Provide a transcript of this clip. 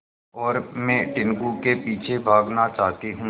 और मैं टीनगु के पीछे भागना चाहती हूँ